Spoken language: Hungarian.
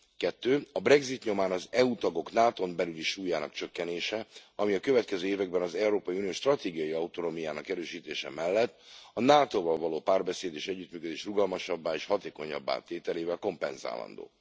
Kettő a brexit nyomán az EU tagok NATO n belüli súlyának csökkenése, ami a következő években az Európai Unió stratégiai autonómiájának erősítése mellett a NATO val való párbeszéd és együttműködés rugalmasabbá és hatékonyabbá tételével kompenzálandó.